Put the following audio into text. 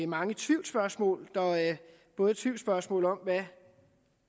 mange tvivlsspørgsmål der er både tvivlsspørgsmål om hvad